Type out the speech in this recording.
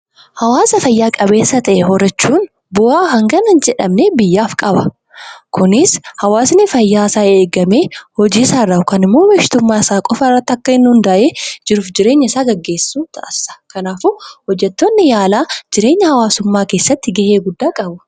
Hawaasa fayyaa qabeessa ta'e horachuun bu'aa hangana hin jedhamne biyyaaf qaba. Kunis hawaasni fayyaa isaa eegame hojiisaa irraa yookaan immoo bashitummaa isaa irraa qofa irratti akka inni hundaa'ee jiruuf jireenya isaa gaggeessu taasisa. Kanaafuu hojjettoonni yaalaa jireenya hawaasummaa keessaa gahee guddaa qabu.